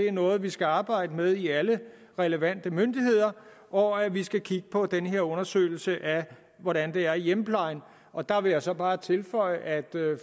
er noget vi skal arbejde med i alle relevante myndigheder og at vi skal kigge på den her undersøgelse af hvordan det er i hjemmeplejen og der vil jeg så bare tilføje at